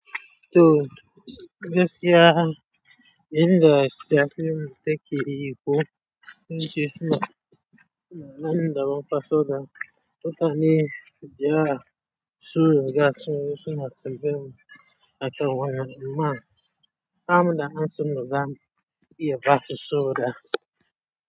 To, gaskiya inda sayan fim take yi ko, zance suna, suna nan da bam fa, so da, mu ta ne, da ya su riga, so zo suna tambaya a kan wanan, ama. Ba mu da amsan da zamu iya basu so da.